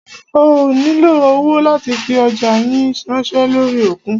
Ẹ ó nílo owó láti fi ọjá yín ránṣẹ́ lórí òkun.